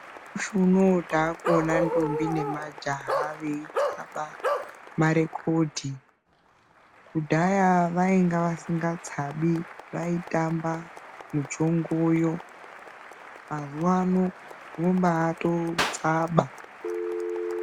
Mushi uno takuona ndombi nemajaha veitsaba marekodhi. Kudhaya vainga vasingatsabi. Vaitamba muchongoyo. Mazuva ano unombatotsaba.